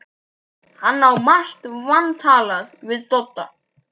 Hann á margt vantalað við Dodda.